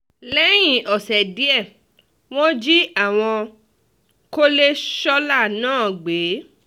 lẹ́yìn ọ̀sẹ̀ díẹ̀ wọ́n jí àwọn kọ́lẹ̀ sọ́la náà gbé